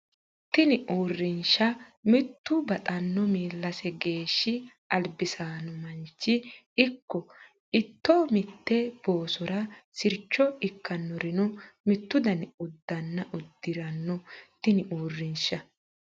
Tini Uurrinsha mittu baxxanno miillase geeshshi albisaano manchi ikko ito mitte boosora sircho ikkannorino mittu dani uddanna udi ranno Tini Uurrinsha.